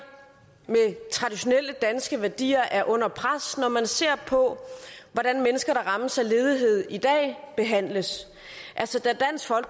med traditionelle danske værdier er under pres når man ser på hvordan mennesker der rammes af ledighed i dag behandles